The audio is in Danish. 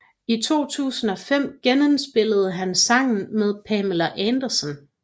I 2005 genindspillede han sangen med Pamela Anderson